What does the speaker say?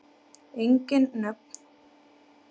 Engin nöfn.